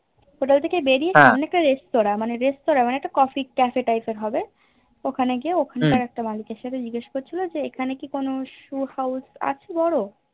Hotel থেকে বেরিয়ে সামনে একটা রেস্তোরা মানে রেস্তোরা মানে Coffee cafe type এর হবে ওখানে গিয়ে ওখানটার একটা মানুষ এর সাথে জিগেশ করছিলো যে এখানে ইক কোনো Shoe house আছে বোরো